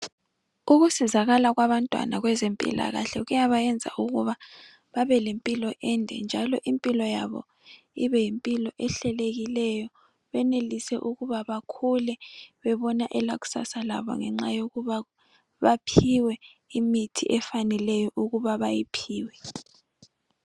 Ukusizakala kwabantwana kwezempilakahle kuyabayenza ukuba babelempilo ende, njalo impilo yabo ibeyimpilo ehlelekileyo, benelise ukuba bakhule bebona elakusasa labo ngenxa yokuba baphiwe imithi efaneleyo ukuba bayiphiwe.